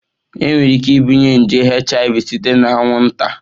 Enwere ike ibunye nje HIV site na anwụnta?